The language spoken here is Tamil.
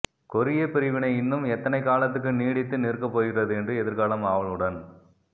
கொரியப் பிரிவினை இன்னும் எத்தனை காலத்துக்கு நீடித்து நிற்கப் போகிறது என்று எதிர்காலம் ஆவலுடன்